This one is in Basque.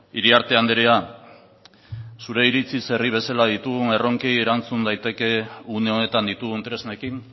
iriarte andrea zure iritziz herri bezala ditugun erronkei erantzun daiteke une honetan ditugun tresnekin